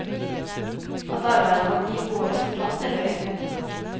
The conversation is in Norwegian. At arbeidet vårt gir gode resultater, vet vi.